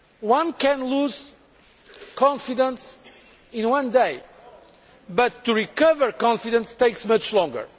One can lose confidence in one day, but to recover confidence takes much longer.